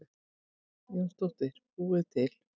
Jónsdóttir búið til.